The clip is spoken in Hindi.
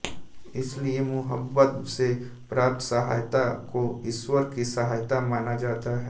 इसलिए मुहम्मद से प्राप्त सहायता को ईश्वर की सहायता माना जाता है